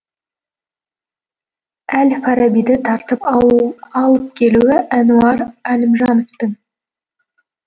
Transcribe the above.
әл фарабиді тартып алып келуі әнуар әлімжановтың